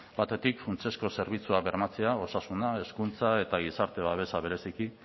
batetik funtsezko zerbitzuak bermatzea osasuna hezkuntza eta gizarte babesa bereziki